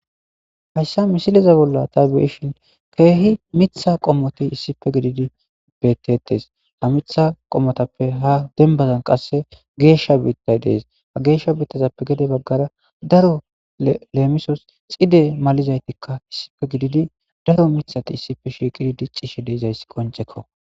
Hayssa misiliza bolla tabiyeshin keehi mitha qommoti issife gididi bettettes ha mitha qommotappe ha dembazan qasse geeshsha biittay dees ha geeshsha biittazappe gede baggara daro leemisos xide malizaytikka issife gididi daro mithati issife shiiqidi diccishshe deeizayssi qoncekko.